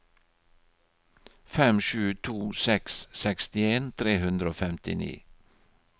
fem sju to seks sekstien tre hundre og femtini